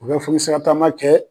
U bɛ foli sira taama kɛ